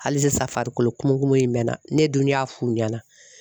Hali sisan farikolo kumu kumu in bɛ na, ne dun y'a f'u ɲɛna.